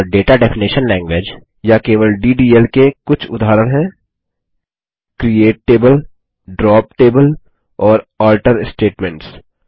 और data definition language या केवल डीडीएल के कुछ उदाहरण हैं क्रिएट टेबल ड्रॉप टेबल और अल्टर स्टेटमेंट्स